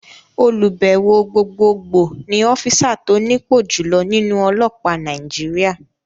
Olùbẹ̀wò Gbogbogbò ni ọ́físà tó nípò jùloọ̀ nínú ọlọ́pàá Nàìjíríà